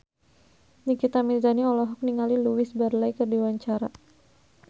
Nikita Mirzani olohok ningali Louise Brealey keur diwawancara